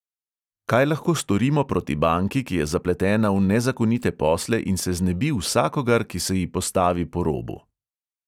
Kaj lahko storimo proti banki, ki je zapletena v nezakonite posle in se znebi vsakogar, ki se ji postavi po robu?